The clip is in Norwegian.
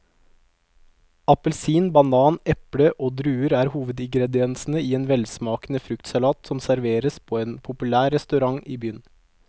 Appelsin, banan, eple og druer er hovedingredienser i en velsmakende fruktsalat som serveres på en populær restaurant i byen.